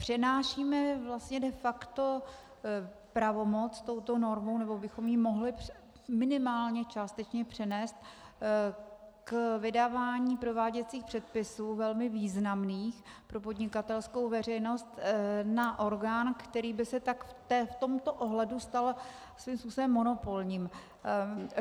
Přenášíme vlastně de facto pravomoc touto normou, nebo bychom ji mohli minimálně částečně přenést k vydávání prováděcích předpisů velmi významných pro podnikatelskou veřejnost na orgán, který by se tak v tomto ohledu stal svým způsobem monopolním.